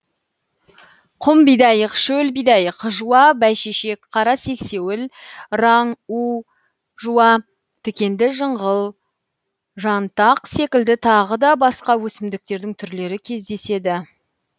құм бидайық шөл бидайық жуа бәйшешек қара сексеуіл раң у жуа тікенді жыңғыл жантақ секілді тағыда басқа өсімдіктердің түрлері кездеседі